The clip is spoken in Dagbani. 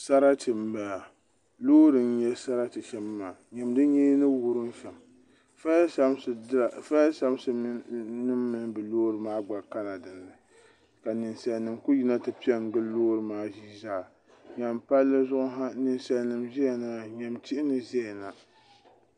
saratɛ n bala lori n nyɛ saratɛ shɛm maa nyɛmi o nyɛɛ ni wurim shɛm ƒayisapisi nim palila dini nisalinim kuli yina ti pɛ n gili lori nim maa shɛm maa nyɛmi pali zuɣ' sa ka be ʒɛya na nyɛmi tihi ni ʒɛya